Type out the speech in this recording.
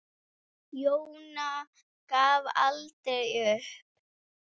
Jóna gafst aldrei upp.